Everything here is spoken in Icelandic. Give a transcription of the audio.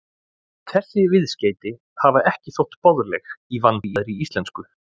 Þessi viðskeyti hafa ekki þótt boðleg í vandaðri íslensku.